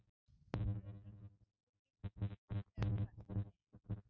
Hún reynir að halda í við sig þegar hún verslar en